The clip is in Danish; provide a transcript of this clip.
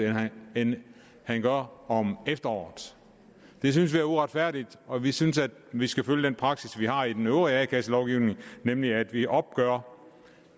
end han gør om efteråret det synes vi er uretfærdigt og vi synes at vi skal følge den praksis vi har i den øvrige a kasse lovgivning nemlig at vi opgør